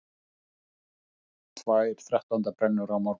Tvær þrettándabrennur á morgun